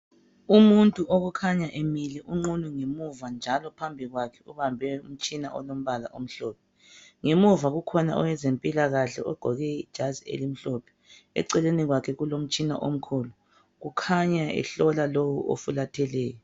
Umuntu okukhanya emile unqunu ngemuva njalo phambi kwakhe ubambe umtshina olombala omhlophe ngemuva kukhona owezempilakahke ogqoke ijazi elimhlophe eceleni kwakhe kulomtshina omkhulu ukhanya ehlola lowu ofulatheleyo.